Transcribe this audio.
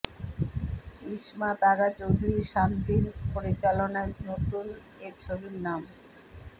ইসমাত আরা চৌধুরীর শান্তির পরিচালনায় নতুন এ ছবির নাম